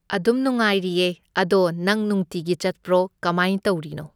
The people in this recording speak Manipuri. ꯑꯗꯨꯝ ꯅꯨꯡꯉꯥꯏꯔꯤꯌꯦ ꯑꯗꯣ ꯅꯪ ꯅꯨꯡꯇꯤꯒꯤ ꯆꯠꯄ꯭ꯔꯣ ꯀꯃꯥꯏ ꯇꯧꯔꯤꯅꯣ?